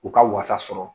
U ka wasa sɔrɔ